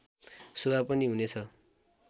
शोभा पनि हुनेछ